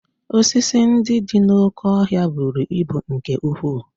Osisi ndị dị n'oké ọhịa buru ibu nke ukwuu